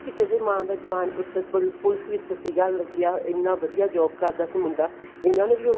ਕਿਸੇ ਦੇ ਮਾਂ ਦਾ ਜਵਾਨ ਪੁੱਤਰ ਪੁਲਸ ਵਿੱਚ ਸੀਗਾ ਲੱਗਿਆ ਇੰਨਾ ਵਧੀਆ job ਕਰਦਾ ਸੀ ਮੁੰਡਾ ਇਹਨਾ ਨੇ ਵੀ ਉਹਨੂੰ